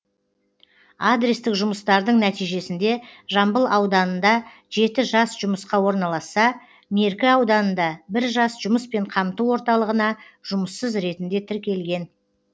адрестік жұмыстардың нәтижесінде жамбыл ауданында жеті жас жұмысқа орналасса меркі ауданында бір жас жұмыспен қамту орталығына жұмыссыз ретінде тіркелген